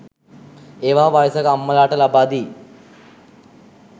ඒවා වයසක අම්මලාට ලබා දී